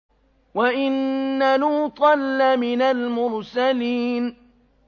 وَإِنَّ لُوطًا لَّمِنَ الْمُرْسَلِينَ